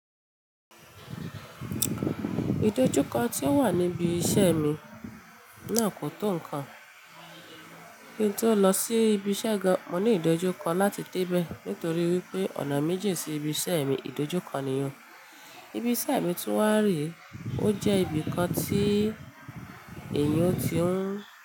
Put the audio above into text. Ìdojúkọ tí ó wà níbi iṣẹ́ mi náà kò tó nǹkan. Kí n tó lọ sí ibi iṣẹ́ gan, mo ní ìdojúkọ láti dé bẹ́ẹ̀ nítorí wípé ọ̀nà mi jìn sí ibi iṣẹ́ mi, ìdojúkọ nìyẹn. Ibi iṣẹ́ mi tún wà rẹ́, ó jẹ́ ibikàn tí ẹ̀yàn ti ń.